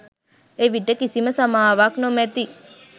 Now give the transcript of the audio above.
එවිට කිසිම සමාවක් නොමැති